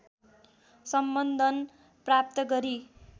सम्बन्धन प्राप्त गरी